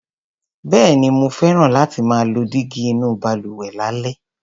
Bẹ́ẹ̀ni, mo fẹ́ràn láti máa lo dígí inú balùwẹ̀ lálẹ́.